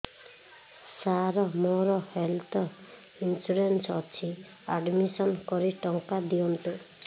ସାର ମୋର health insurance ଅଛି admission କରି ଟଙ୍କା ଦିଅନ୍ତୁ